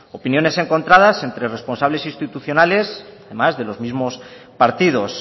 opiniones encontradas entre responsables institucionales o más de los mismos partidos